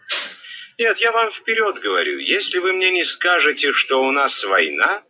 нет я вам вперёд говорю если вы мне не скажете что у нас война